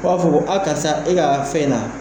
B'a fɔ a karisa e ka fɛn na